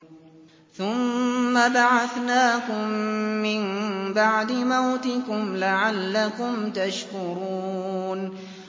ثُمَّ بَعَثْنَاكُم مِّن بَعْدِ مَوْتِكُمْ لَعَلَّكُمْ تَشْكُرُونَ